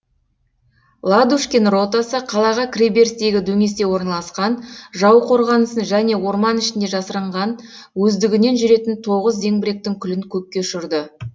ладушкин ротасы қалаға кіре берістегі дөңесте орналасқан жау қорғанысын және орман ішінде жасырынған өздігінен жүретін тоғыз зеңбіректің күлін көкке ұшырды